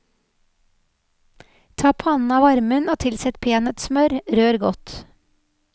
Ta pannen av varmen og tilsett peanøttsmør, rør godt.